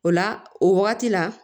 O la o wagati la